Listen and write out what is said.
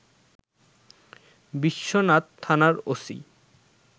বিশ্বনাথ থানার ওসি